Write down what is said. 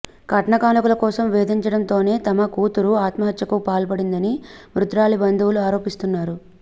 కట్నకానుకల కోసం వేధించడంతోనే తమ కూతురు ఆత్మహత్యకు పాల్పడిందని మృతురాలి బంధువులు ఆరోపిస్తున్నారు